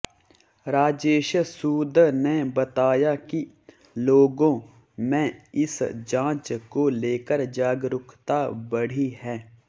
राजेश सूद ने बताया कि लोगांे में इस जांच को लेकर जागरूकता बढ़ी है